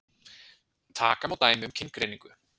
Taka má dæmi um kyngreiningu.